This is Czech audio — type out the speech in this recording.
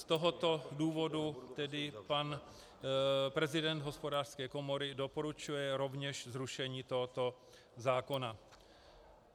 Z tohoto důvodu tedy pan prezident Hospodářské komory doporučuje rovněž zrušení tohoto zákona.